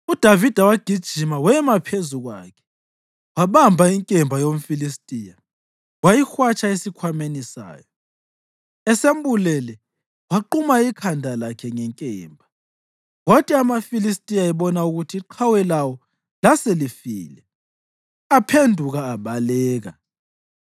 UDavida wagijima wema phezu kwakhe. Wabamba inkemba yomFilistiya wayihwatsha esikhwameni sayo. Esembulele, waquma ikhanda lakhe ngenkemba. Kwathi amaFilistiya ebona ukuthi iqhawe lawo laselifile, aphenduka abaleka.